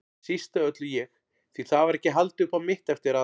Síst af öllu ég, því það var ekki haldið upp á mitt eftir að